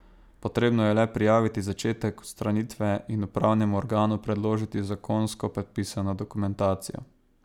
Potrebno je le prijaviti začetek odstranitve in upravnemu organu predložiti zakonsko predpisano dokumentacijo.